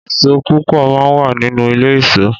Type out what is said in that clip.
Ìsó púpọ̀ má wà nínú ilé ìsó